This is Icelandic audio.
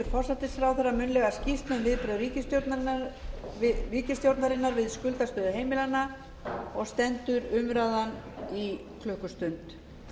forsætisráðherra munnlega skýrslu um viðbrögð ríkisstjórnarinnar við skuldastöðu heimilanna og stendur umræðan í klukkustund